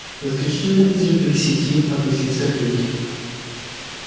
исключительно из любви к сети объяснил сергей